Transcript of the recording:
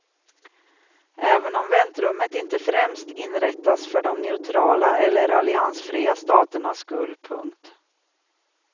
Även om väntrummet inte främst inrättas för de neutrala eller alliansfria staternas skull. punkt